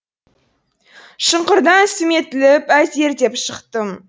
шұңқырдан сүметіліп әзер деп шықтым